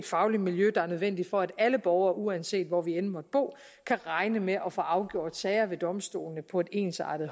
faglige miljø der er nødvendigt for at alle borgere uanset hvor vi end måtte bo kan regne med at få afgjort sager ved domstolene på et ensartet